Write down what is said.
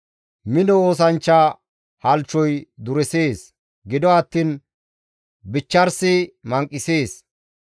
Mino oosanchcha halchchoy duresees; gido attiin bichcharisi manqisees.